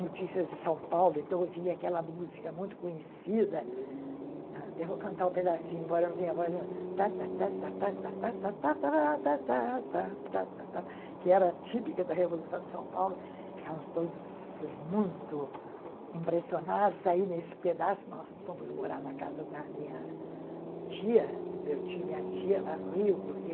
notícias de São Paulo, então eu ouvia aquela música muito conhecida, até vou cantar um pedacinho, embora eu não tenha voz nenhuma, que era típica da Revolução de São Paulo, ficávamos todos muito impressionados, aí nesse pedaço nós fomos morar na casa da minha tia, do meu tio e minha tia lá no Rio, porque